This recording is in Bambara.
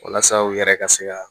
Walasa u yɛrɛ ka se ka